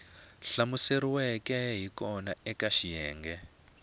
hlamuseriweke hi kona eka xiyenge